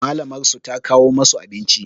Malamar su ta kawo masu abinci